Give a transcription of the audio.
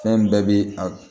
Fɛn bɛɛ bi a